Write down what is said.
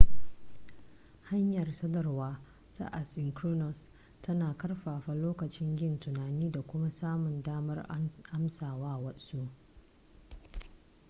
hanyar sadarwar ta asynchronous tana ƙarfafa lokacin yin tunani da kuma samun damar amsa wa wasu